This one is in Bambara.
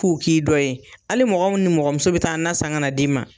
K'u k'i dɔ ye . Hali mɔgɔ nimɔgɔmuso be taa nan san ka d'i ma.